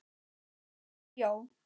Eða bjó.